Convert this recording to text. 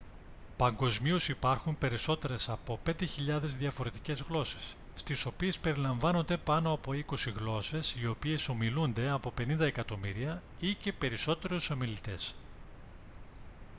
παγκοσμίως υπάρχουν περισσότερες από 5.000 διαφορετικές γλώσσες στις οποίες περιλαμβάνονται πάνω από είκοσι γλώσσες οι οποίες ομιλούνται από 50 εκατομμύρια ή και περισσότερους ομιλητές